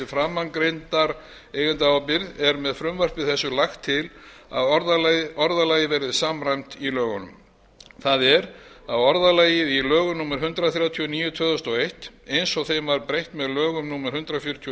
framangreindar eigendaábyrgðir er með frumvarpi þessu lagt til að orðalagið verði samræmt í lögunum það er að orðalagið í lögum númer hundrað þrjátíu og níu tvö þúsund og eitt eins og þeim var breytt með lögum númer hundrað fjörutíu og